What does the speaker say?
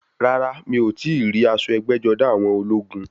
Rárá, mi ò tíì rí aṣọ ẹgbẹ́-jọdá àwọn ológun.